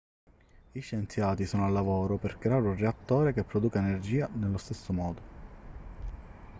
gli scienziati sono al lavoro per creare un reattore che produca energia nello stesso modo